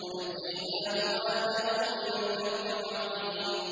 وَنَجَّيْنَاهُ وَأَهْلَهُ مِنَ الْكَرْبِ الْعَظِيمِ